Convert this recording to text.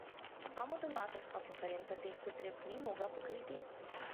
Samo donatorska konferenca teh potreb ni mogla pokriti?